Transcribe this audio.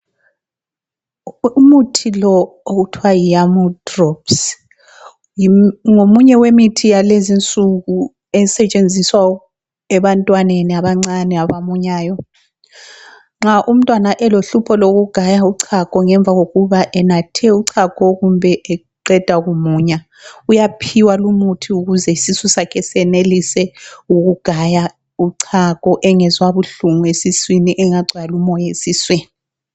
Umuthi lo okuthwa yi YAMOO drops ngomunye yemithi yalezinsuku esetshenziswa ebantwaneni abancane abamunyayo. Nxa umtwana elohlupho lokugaya uchago ngemva kokuba enathe uchago kumbe eqeda kumunya uyaphiwa lumuthi ukuze isusu sakhe senelise ukugaya uchago , engezwa buhlungu esiswini, engacwali umoya esiswini.